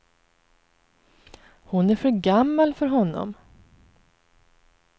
Hon är för gammal för honom.